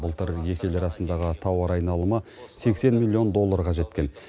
былтыр екі ел арасындағы тауар айналымы сексен миллион долларға жеткен